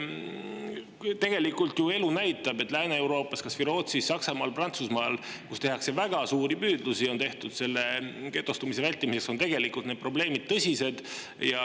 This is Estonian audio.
Tegelikult ju elu näitab, et Lääne-Euroopas, kas või Rootsis, Saksamaal ja Prantsusmaal, kus on tehtud väga suuri püüdlusi getostumise vältimiseks, on tegelikult need probleemid tõsised.